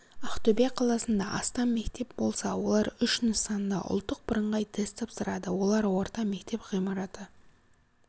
ақтөбе қаласында астам мектеп болса олар үш нысанда ұлттық бірыңғай тест тапсырды олар орта мектеп ғимараты